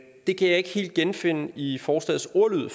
det kan jeg ikke helt genfinde i forslagets ordlyd